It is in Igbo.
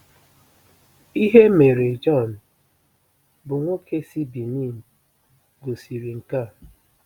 Ihe mere Jean, bụ́ nwoke si Benin gosiri nke a.